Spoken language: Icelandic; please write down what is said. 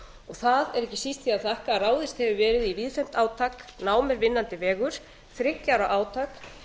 það er ekki síst því að þakka að ráðist hefur verið í víðtækt átak nám er vinnandi vegur þriggja ára átak